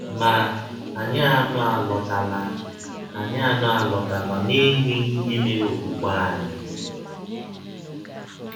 Ma, anyị anọ alọtala anyị anọ alọtala n’enweghị ihe mere ọkwụkwe anyị.